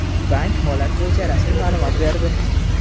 Bank holat bo‘yicha rasmiy ma’lumot berdi.